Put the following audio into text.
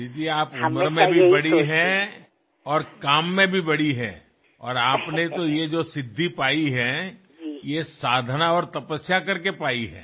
दीदी आप उम्र में भी बड़ी हैं और काम में भी बड़ी हैं और आपने ये जो सिद्धी पायी है ये साधना और तपस्या करके पायी है